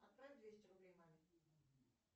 отправь двести рублей маме